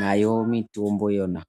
nayo mitombo yona..